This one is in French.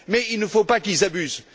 Mais il ne faut pas qu'ils abusent.